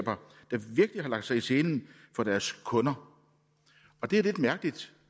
hvilke har lagt sig i selen for deres kunder og det er lidt mærkeligt